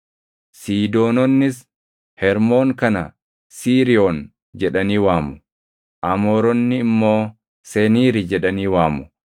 Siidoononnis Hermoon kana Siiriyoon jedhanii waamu; Amooronni immoo Seniiri jedhanii waamu.